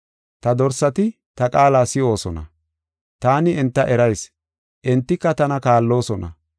Ta dorsati ta qaala si7oosona. Taani enta erayis; entika tana kaalloosona.